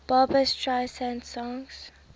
barbra streisand songs